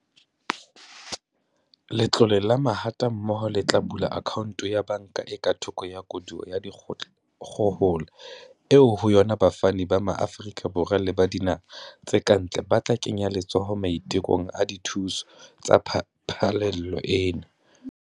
Letlole la Mahatammoho le tla bula akhaonto ya banka e ka thoko ya koduwa ya dikgohola eo ho yona bafani ba Maafrika Borwa le ba dinaha tse kantle ba tla kenya letsoho maitekong a dithuso tsa phallelo ena.